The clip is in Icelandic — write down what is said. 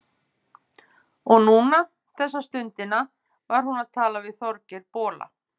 Og núna, þessa stundina, var hún að tala við Þorgeir bola.